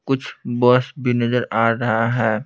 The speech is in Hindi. कुछ बस भी नजर आ रहा है।